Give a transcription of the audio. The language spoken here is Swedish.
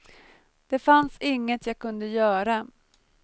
Det fanns inget jag kunde göra.